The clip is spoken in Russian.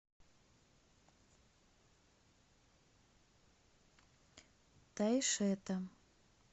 тайшета